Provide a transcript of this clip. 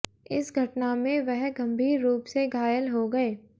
इस घटना में वह गंभीर रूप से घायल हो गये